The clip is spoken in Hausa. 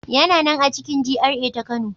Yana nan a cikin GRA ta Kano.